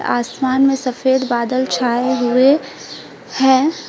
आसमान में सफेद बादल छाए हुए हैं।